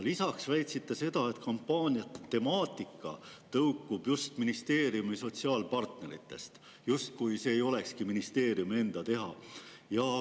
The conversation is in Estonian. Lisaks väitsite seda, et kampaaniate temaatika tõukub just ministeeriumi sotsiaalpartneritest, justkui see ei olekski ministeeriumi enda teha.